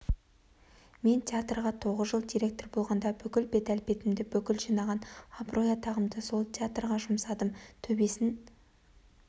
мен театрға тоғыз жыл директор болғанда бүкіл бет-әлпетімді бүкіл жинаған абырой-атағымды сол театрға жұмсадым төбесін